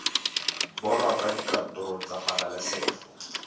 bonwa kwa dikantorong tsa pabalesego